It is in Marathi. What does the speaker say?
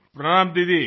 नमस्कार दिदी